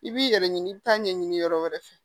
I b'i yɛrɛ ɲini i bɛ taa ɲɛɲini yɔrɔ wɛrɛ fɛ